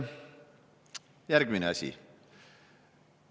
Järgmine asi.